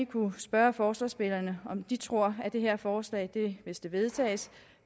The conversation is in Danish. kunne spørge forslagsstillerne om de tror at det her forslag hvis det vedtages